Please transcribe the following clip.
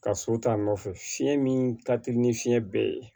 Ka so ta nɔfɛ fiɲɛ min ka teli ni fiɲɛ bɛɛ ye